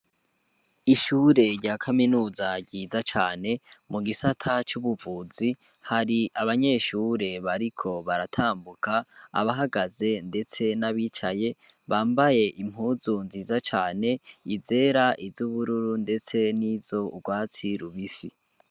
Ishure rya kaminuza ryiza cane mu gisata c'ubuvuzi, har'abanyeshuri bariko baratambuka abahagaze ndetse n'abicaye bambaye impuzu nziza cane, izera, iz'ubururu ndetse nizu rwatsi rubisi.